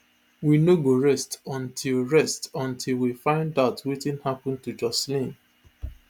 we no go rest until rest until we find [out] wetin happun to joshlin